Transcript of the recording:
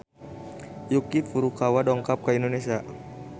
Yuki Furukawa dongkap ka Indonesia